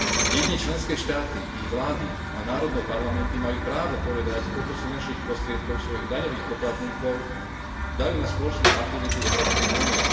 Jedine členské štáty, ich vlády a národné parlamenty majú právo povedať, koľko z finančných prostriedkov svojich daňových poplatníkov dajú na spoločné aktivity Európskej únie.